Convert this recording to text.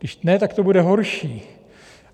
Když ne, tak to bude horší.